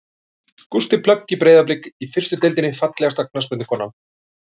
Gústi plögg í Breiðablik í fyrstu deildinni Fallegasta knattspyrnukonan?